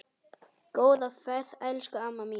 Góða ferð elsku amma mín.